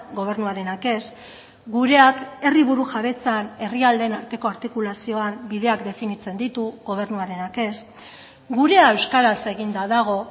gobernuarenak ez gureak herri burujabetzan herrialdeen arteko artikulazioan bideak definitzen ditu gobernuarenak ez gurea euskaraz eginda dago